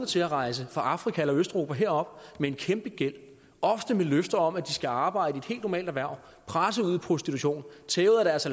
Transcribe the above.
til at rejse fra afrika eller østeuropa herop med en kæmpe gæld ofte med løfter om at de skal arbejde i et helt normalt erhverv de presses ud i prostitution tæves